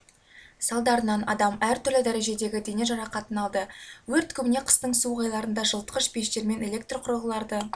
салдарынан адам әртүрлі дәрежедегі дене жарақатын алды өрт көбіне қыстың суық айларында жылытқыш пештермен электр құрылғыларды